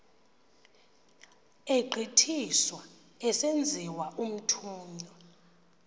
egqithiswa esenziwa umthunywa